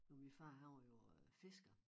Og min far han var jo øh fisker